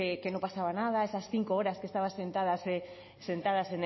que no pasaba nada esas cinco horas que estabas sentada